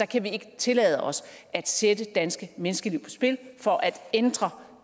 kan ikke tillade os at sætte danske menneskeliv på spil for at ændre